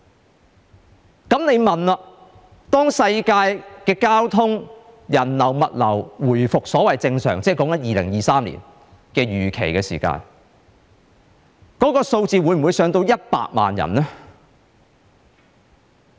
這樣我就會問，當全球交通、人流、物流預期在2023年回復正常的時候，數字會否上升至100萬人呢？